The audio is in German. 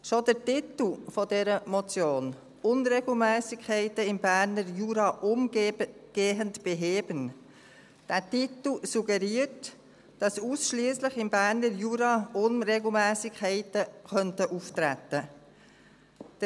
Schon der Titel dieser Motion «Unregelmässigkeiten im Berner Jura umgehend beheben» suggeriert, dass ausschliesslich im Berner Jura Unregelmässigkeiten auftreten könnten.